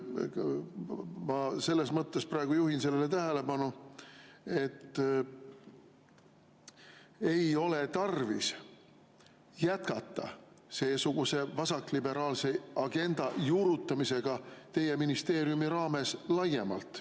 Ma selles mõttes praegu juhin sellele tähelepanu, et ei ole tarvis jätkata seesuguse vasakliberaalse agenda juurutamisega teie ministeeriumi raames laiemalt.